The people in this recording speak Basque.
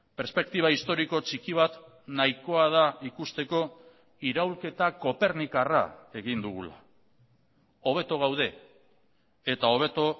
perspektiba historiko txiki bat nahikoa da ikusteko iraulketa kopernikarra egin dugula hobeto gaude eta hobeto